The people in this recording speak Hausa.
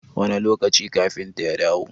Wane lokaci kafintan ya dawo?